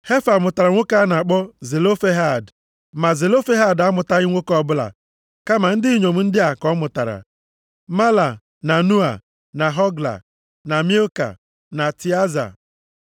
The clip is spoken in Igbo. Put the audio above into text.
(Hefa mụtara nwoke a na-akpọ Zelofehad. Ma Zelofehad amụtaghị nwoke ọbụla kama ndị inyom ndị a ka ọ mụtara, Mahla, na Noa, na Hogla, na Milka, na Tịaza.)